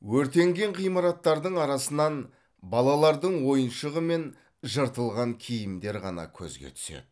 өртенген ғимараттардың арасынан балалардың ойыншығы мен жыртылған киімдер ғана көзге түседі